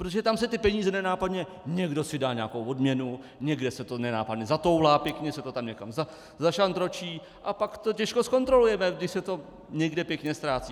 Protože tam se ty peníze nenápadně - někdo si dá nějakou odměnu, někde se to nenápadně zatoulá, pěkně se to tam někam zašantročí a pak to těžko zkontrolujeme, když se to někde pěkně ztrácí.